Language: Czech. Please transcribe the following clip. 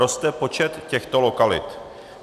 Roste počet těchto lokalit.